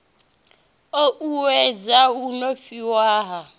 u uuwedza u honifhiwa ha